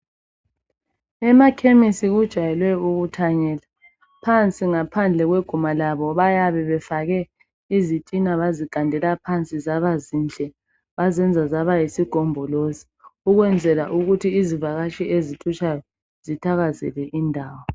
Emakhemisi kujayele ukuthanyelwa .Phansi ngaphandle kweguma labo bayabe befake izitina bazigandela phansi zaba zinhle bazenza zaba yisigombolozi . Ukwenzela ukuthi izivakatshi ezithutshayo zithakazele indawo .